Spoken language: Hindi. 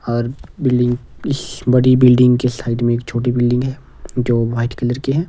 और बिल्डिंग इस बड़ी बिल्डिंग के साइड में एक छोटी बिल्डिंग है जो व्हाइट कलर की है।